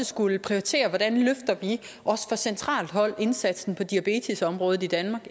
skulle vi prioritere hvordan vi også fra centralt hold løfter indsatsen på diabetesområdet i danmark